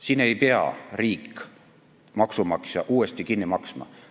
Siin ei pea riik, maksumaksja seda uuesti kinni maksma.